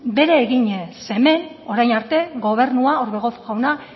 bere eginez zeren hemen orain arte gobernua orbegozo jauna